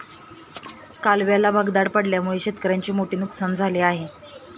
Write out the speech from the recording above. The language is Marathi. कालव्याला भगदाड पडल्याने शेतकऱ्यांचे मोठे नुकसान झाले आहे.